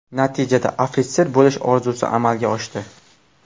Natijada, ofitser bo‘lish orzusi amalga oshdi”.